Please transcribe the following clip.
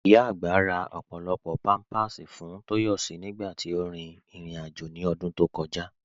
Ìyá agbá rà ọ́pọ̀lọ́pọ̀ àwọn pampa fún Toyosi nígbàtí ó rí irin-àjọ̀ ní ọdún tó kọ̀jà.